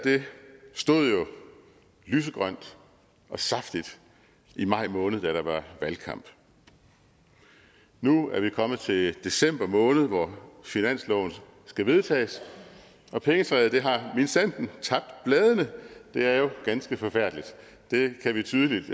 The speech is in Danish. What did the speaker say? stod jo lysegrønt og saftigt i maj måned da der var valgkamp nu er vi kommet til december måned hvor finansloven skal vedtages og pengetræet har minsandten tabt bladene det er jo ganske forfærdeligt det kan vi tydeligt